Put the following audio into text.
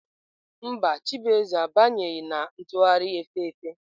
Mba, chibueze abanyeghị na ntụgharị efe efe.